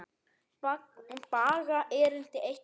Baga erindi eitt og sér.